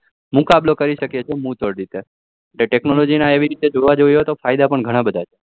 મુકાબલો કરી શકીએ છીએ મુ તોડ રીતે technology એવી રીતે જોવા જઈએ તો ફાયદા પણ ઘણાબધા છે